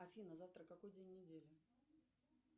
афина завтра какой день недели